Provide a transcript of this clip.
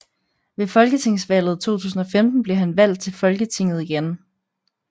Ved folketingsvalget 2015 blev han valgt til Folketinget igen